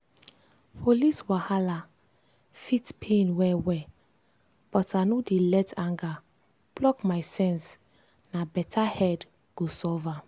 police wahala fit pain well-well but i no dey let anger block my sense na better head go solve am.